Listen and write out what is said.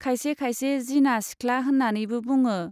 खायसे खायसे 'जिना सिख्ला' होन्नानैबो बुङो।